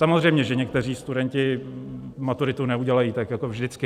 Samozřejmě že někteří studenti maturitu neudělají, tak jako vždycky.